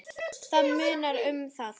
Það munar um það.